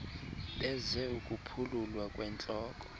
beze ukuphululwa kwentloko